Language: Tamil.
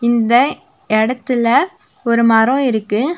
இந்த எடத்துல ஒரு மரோ இருக்கு.